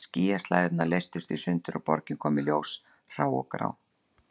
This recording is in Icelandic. Skýjaslæðurnar leystust í sundur og borgin kom í ljós grá og hrá.